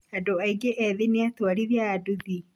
andũ aingĩ ethĩ nĩatwarithia a nduthi